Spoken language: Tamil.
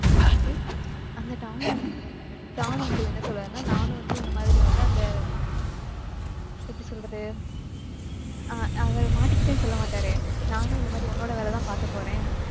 okay அந்த tom unc~ tom uncle என்ன சொல்வாருன்னா? நானும் வந்து உன்னை மாதிரி வந்து அந்த எப்படி சொல்றது ஆஹ் அவரு மாட்டிக்கிட்டேன்னு சொல்ல மாட்டாரு. நானும் இந்த மாதிரி உன்னோட வேலைதான் பார்க்கப் போறேன்.